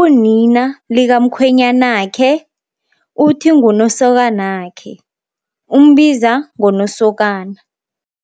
unina likamkhwenyanakhe uthi, ngunosokanakhe. Umbiza ngonosokana.